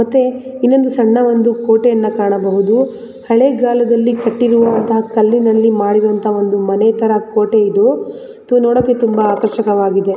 ಮತ್ತೆ ಇನ್ನೊಂದು ಸಣ್ಣ ಒಂದು ಕೋಟೆಯನ್ನು ಕಾಣಬಹುದು ಹಳೆ ಕಾಲದಲ್ಲಿ ಕಟ್ಟಿರುವಂತಹ ಕಲ್ಲಿನಲ್ಲಿ ಮಾಡಿರುವಂತಹ ಒಂದು ಮನೆ ತರ ಕೋಟೆ ಇದು ಇದು ನೋಡೋಕೆ ತುಂಬಾ ಆಕರ್ಷಕವಾಗಿದೆ.